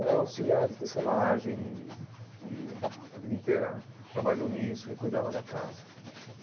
Ela é auxiliar de tecelagem e e a vida inteira trabalhou nisso e cuidava da casa.